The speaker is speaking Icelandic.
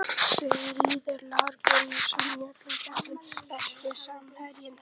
Sigurður Lár Gunnarsson í öllum keppnum Besti samherjinn?